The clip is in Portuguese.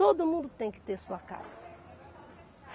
Todo mundo tem que ter sua casa.